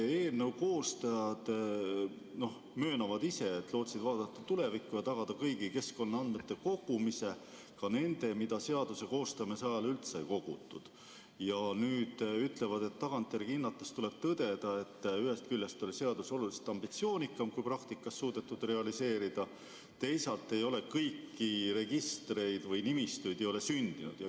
Eelnõu koostajad möönavad ise, et lootsid vaadata tulevikku ja tagada kõigi keskkonnaandmete kogumise, ka nende, mida seaduse koostamise ajal üldse ei kogutud, ja nüüd ütlevad, et tagantjärele hinnates tuleb tõdeda, et ühest küljest oli seadus oluliselt ambitsioonikam, kui praktikas on suudetud realiseerida, teisalt ei ole kõiki registreid või nimistuid sündinud.